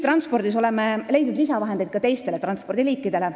Me oleme leidnud lisavahendeid ka teistele ühistranspordiliikidele.